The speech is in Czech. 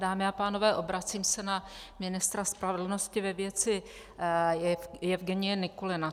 Dámy a pánové, obracím se na ministra spravedlnosti ve věci Jevgenije Nikulina.